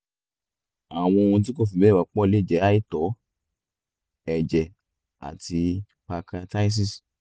àwọn ohun tí kò fi bẹ́ẹ̀ wọ́pọ̀ lè jẹ́ àìtó ẹ̀jẹ̀ àti pancreatitis